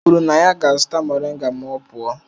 O kwuru na ya ga-azụta moringa ma ọ pụọ.